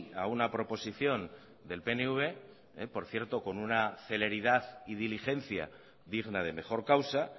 a una proposición del pnv por cierto con una celeridad y diligencia digna de mejor causa